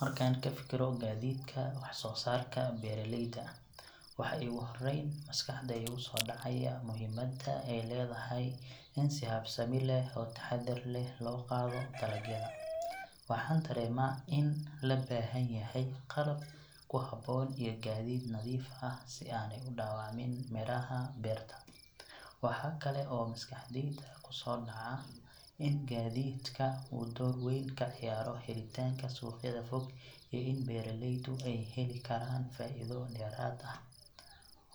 Markaan ka fikiro gaadiidka wax soo saarka beeraleyda, waxa iigu horrayn maskaxda iiga soo dhacaya muhiimadda ay leedahay in si habsami leh oo taxadar leh loo qaado dalagyada. Waxaan dareemaa in la baahan yahay qalab ku habboon iyo gaadiid nadiif ah si aanay u dhaawacmin miraha beerta. Waxa kale oo maskaxdayda ku soo dhaca in gaadiidka uu door weyn ka ciyaaro helitaanka suuqyada fog iyo in beeraleydu ay heli karaan faa’iido dheeraad ah.